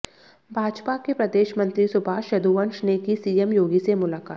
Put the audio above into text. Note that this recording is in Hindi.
भाजपा के प्रदेश मंत्री सुभाष यदुवंश ने की सीएम योगी से मुलाकात